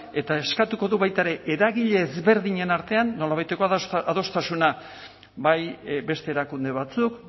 eta eskatuko du baita ere eragile ezberdinen artean nolabaiteko adostasuna bai beste erakunde batzuk